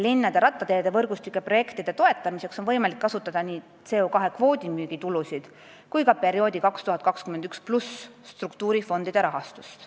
Linnade rattateede võrgustiku projektide toetamiseks on võimalik kasutada nii CO2 kvoodi müügi tulusid kui ka 2021+ perioodi struktuurifondide rahastust.